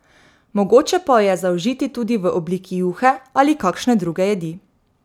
Mogoče pa jo je zaužiti tudi v obliki juhe ali kakšne druge jedi.